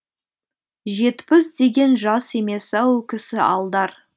жетпіс деген жас емес ау кісі алдар